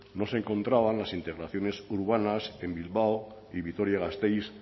no se encontraban las integraciones urbanas en bilbao y vitoria gasteiz